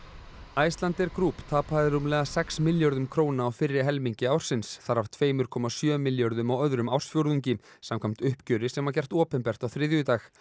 Icelandair Group tapaði rúmlega sex milljörðum króna á fyrri helmingi ársins þar af tveir komma sjö milljörðum á öðrum ársfjórðungi samkvæmt uppgjöri sem gert opinbert á þriðjudag